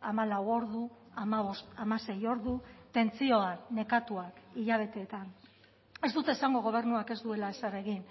hamalau ordu hamabost hamasei ordu tentsioan nekatuak hilabeteetan ez dut esango gobernuak ez duela ezer egin